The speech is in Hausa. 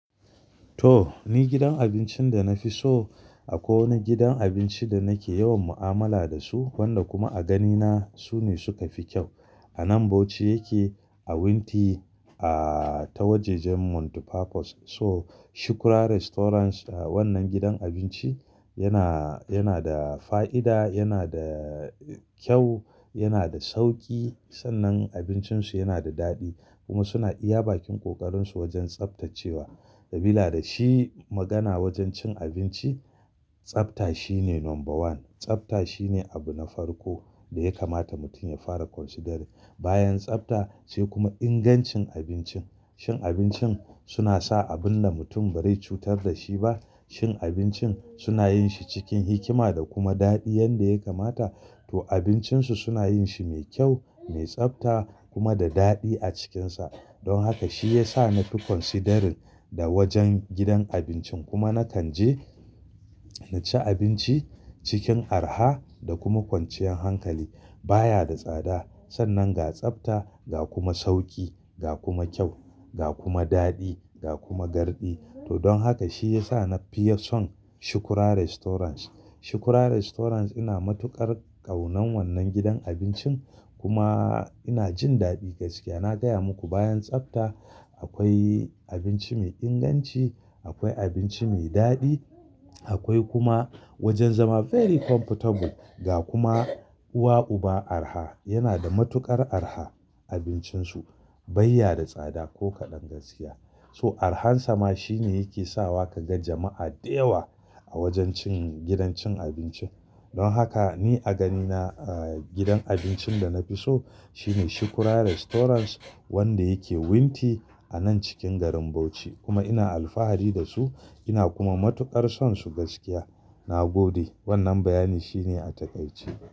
To ni gidan abincin da na fi so akwai wani gidan abinci da nake yawan mu'amala da su wanda kuma a ganina su ne suka fi kyau. A nan Bauchi yake a wunti a ta wajajen Mount Papos so Shuku Ra Restaurant wannan gidan abinci yana, yana da fa'ida, yana da kyau, yana da sauki sannan abincin su yana da daɗi kuma suna iya bakin ƙoƙarin su wajen tsaftacewa. Sabila da shi magana wajen cin abinci, tsafta shine number one. Tsafta shine abu na farko da ya kamata mutum ya fara considering. Bayan tsafta sai kuma ingancin abincin. Shin abincin suna sa abun da mutum ba zai cutar da shi ba? Shin abincin suna yin shi cikin hikima da kuma daɗi yanda ya kamata? To abincin su suna yin shi mai kyau, mai tsafta kuma da daɗi a cikinsa. Don haka shi ya sa na fi considering da wajen gidan abincin kuma na kanje na ci abinci cikin araha da kuma kwanciyar hankali. Ba ya da tsada sannan ga tsafta, ga kuma sauki, ga kuma kyau, ga kuma daɗi, ga kuma garɗi. To don haka shi ya sa na fiya son ShukuRa Restaurant. Shuku Ra Restaurant ina matuƙar ƙaunan wannan gidan abincin kuma ina jin daɗi gaskiya. Na gaya muku bayan tsafta akwai abinci mai inganci, akwai abinci mai daɗi, akwai kuma wajen zama very comfortable ga kuma uwa uba araha. Yana da matuƙar araha abincin su. Bai ya da tsada ko kaɗan gaskiya. So arahansa ma shi ne yake sawa ka ga jama'a da yawa a wajen cin gidan cin abinci. Don haka ni a ganina gidan abincin da na fi so shine ShukuRa Restaurant wanda yake wunti a nan cikin garin Bauchi kuma ina alfahari da su ina kuma matuƙar son su gaskiya. Na gode wannan bayani shi ne a takaice.